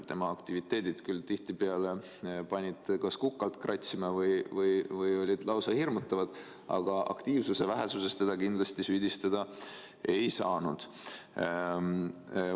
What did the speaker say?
Tema aktiviteedid panid küll tihtipeale kas kukalt kratsima või olid lausa hirmutavad, aga aktiivsuse vähesuses teda kindlasti süüdistada ei saanud.